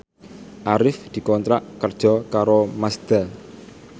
Arif dikontrak kerja karo Mazda